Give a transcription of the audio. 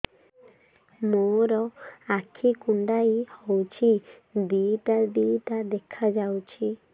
ମୋର ଆଖି କୁଣ୍ଡାଇ ହଉଛି ଦିଇଟା ଦିଇଟା ଦେଖା ଯାଉଛି